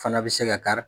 Fana bɛ se ka kari